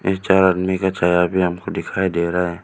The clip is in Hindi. तीन चार आदमी का चेहरा भी हमको दिखाई दे रहा है।